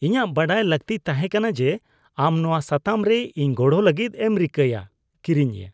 ᱤᱧᱟᱹᱜ ᱵᱟᱰᱟᱭ ᱞᱟᱹᱠᱛᱤ ᱛᱟᱦᱮᱸ ᱠᱟᱱᱟ ᱡᱮ ᱟᱢ ᱱᱚᱶᱟ ᱥᱟᱛᱟᱢ ᱨᱮ ᱤᱧ ᱜᱚᱲᱚ ᱞᱟᱹᱜᱤᱫ ᱮᱢ ᱨᱤᱠᱟᱹᱭᱟ (ᱠᱤᱨᱤᱧᱤᱭᱟᱹ)